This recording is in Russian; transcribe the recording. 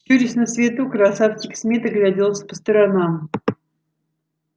щурясь на свету красавчик смит огляделся по сторонам